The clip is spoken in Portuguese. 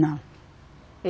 Não.